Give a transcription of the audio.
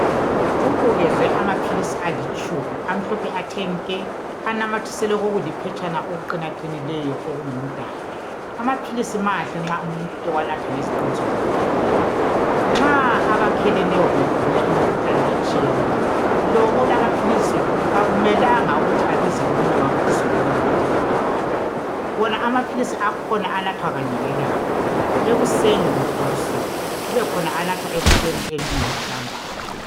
Kubukezwe amaphilisi alitshumi, amhlophe athe nke! Anamathiselwe kokuliphetshana okuqinaqinileyo, okungumdaka. Amaphilisi mahle nxa umuntu ewanatha ngeziqondiso zikadokotela. Nxa abakheleneyo begula imikhuhlane etshiyeneyo. Lo olamaphilisi, kakumelanga ukuthi abize omunye wakhe, athi sondela unathe awami. Wona amaphilisi akhona anathwa kanye ngelanga, ekuseni kumbe ebusuku. Kubekhona anathwa ekuseni, emini lantambama.